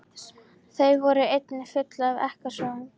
Þau voru einnig full af ekkasogum.